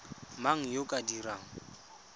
mang yo o ka dirang